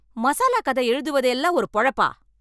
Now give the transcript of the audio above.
மசாலா கதை எழுதுவது எல்லாம் ஒரு பொழப்பா ?